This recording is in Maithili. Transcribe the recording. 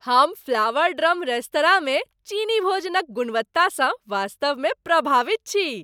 हम फ्लावर ड्रम रेस्तरांमे चीनी भोजनक गुणवत्तासँ वास्तवमे प्रभावित छी।